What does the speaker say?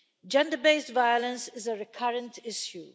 Gender based violence is a recurrent issue.